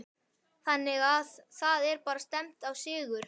Þannig að það er bara stefnt á sigur?